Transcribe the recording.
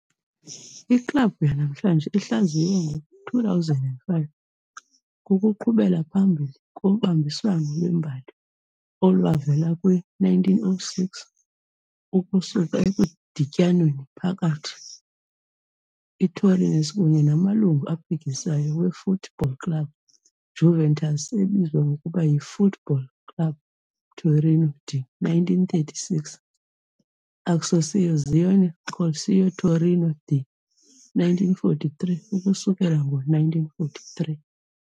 Iklabhu yanamhlanje, ihlaziywe ngo-2005, kukuqhubela phambili kobambiswano lwembali olwavela kwi-1906 ukusuka ekudityaneni phakathi ITorinese kunye namalungu aphikisayo we-Foot-Ball Club Juventus, ebizwa ngokuba yi"-Foot Ball Club Torino" de 1936, "Associazione Calcio Torino" de 1943, ukususela ngo-1943.